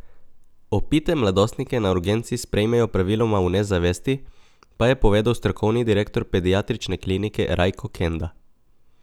Opite mladostnike na urgenci sprejmejo praviloma v nezavesti, pa je povedal strokovni direktor pediatrične klinike Rajko Kenda.